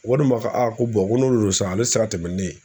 Walima aa ko n'olu san ale tɛ se ka tɛmɛ ni ne ye